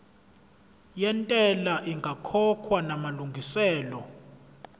yentela ingakakhokhwa namalungiselo